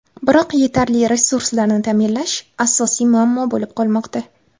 Biroq yetarli resurslarni ta’minlash asosiy muammo bo‘lib qolmoqda.